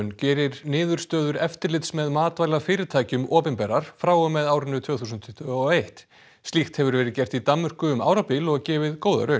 gerir niðurstöður eftirlits með matvælafyrirtækjum opinberar frá og með árinu tvö þúsund tuttugu og eitt slíkt hefur verið gert í Danmörku um árabil og gefið góða raun